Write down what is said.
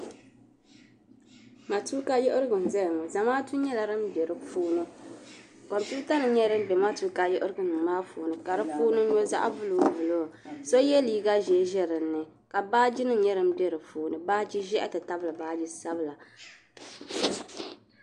vootɛbu shee m bɔŋɔ paɣa n zaya la n zaŋdi binshɛɣu niŋdi bɔngɔ maa ni ka n nyɛ ka bin waɣinli zaya zaɣi piɛlli n nyɛli ka bɛ sabi vootɛbu pa di zuɣu ni Ghana flaake ka n nyɛ ka niriba zaya niriba zaya la ka n ʒen ʒeya ka doo zaya ka pri namda ʒee ni jinjɛm sabinli.